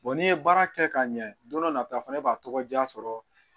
n'i ye baara kɛ ka ɲɛ don dɔ nata fana b'a tɔgɔ diya sɔrɔ